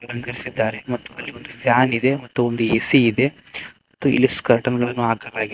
ಮತ್ತು ಅಲ್ಲಿ ಫ್ಯಾನಿದೆ ಮತ್ತು ಒಂದು ಎ_ಸಿ ಇದೆ ಇಲ್ಲಿ ಸ್ಕರ್ಟನ್ ಗಳನ್ನು ಹಾಕಲಾಗಿ--